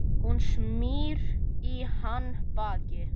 Hún snýr í hann baki.